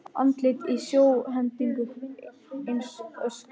Andlit í sjónhendingu eins og öskur.